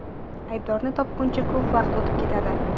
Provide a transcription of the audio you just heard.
Aybdorni topguncha ko‘p vaqt o‘tib ketadi.